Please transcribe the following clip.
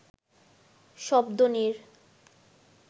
শব্দ নীড়